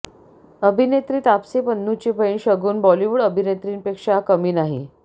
अभिनेत्री तापसी पन्नूची बहिण शगुन बॉलिवूड अभिनेत्रींपेक्षा कमी नाही